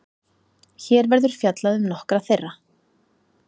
Hér verður fjallað um nokkra þeirra.